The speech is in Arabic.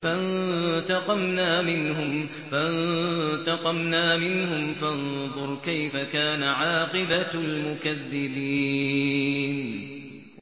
فَانتَقَمْنَا مِنْهُمْ ۖ فَانظُرْ كَيْفَ كَانَ عَاقِبَةُ الْمُكَذِّبِينَ